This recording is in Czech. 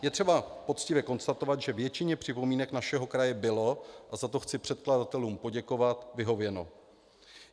Je třeba poctivě konstatovat, že většině připomínek našeho kraje bylo, a za to chci předkladatelům poděkovat, vyhověno.